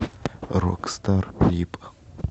рокстар клип